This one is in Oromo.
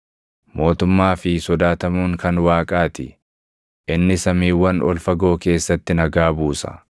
“Mootummaa fi sodaatamuun kan Waaqaa ti; inni samiiwwan ol fagoo keessatti nagaa buusa.